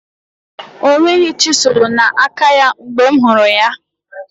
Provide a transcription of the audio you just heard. O nweghị chiselu na aka ya mgbe m hụrụ ya